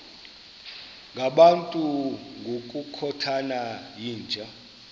ngabantu ngokukhothana yinja